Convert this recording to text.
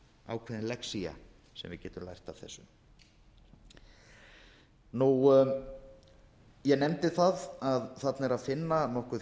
ákveðin lexía sem við getum lært af þessu ég nefndi það að þarna er að finna nokkuð